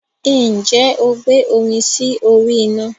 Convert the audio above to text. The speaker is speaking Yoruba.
Ǹjẹ́ o gbé omi sí orí ina?